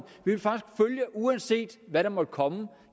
uanset hvad der måtte komme